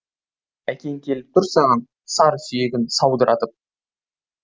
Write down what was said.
әкең келіп тұр саған сар сүйегін саудыратып